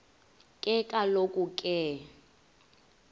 ke kaloku ke